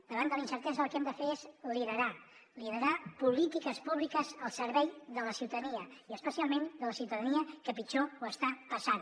davant de la incertesa el que hem de fer és liderar liderar polítiques públiques al servei de la ciutadania i especialment de la ciutadania que pitjor ho està passant